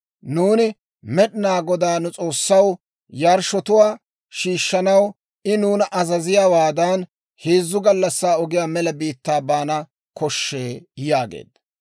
Nuuni Med'inaa Godaa, nu S'oossaw, yarshshotuwaa shiishshanaw I nuuna azaziyaawaadan, heezzu gallassaa ogiyaa mela biittaa baana koshshee» yaageedda.